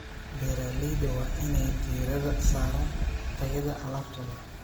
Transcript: Beeralayda waa inay diirada saaraan tayada alaabtooda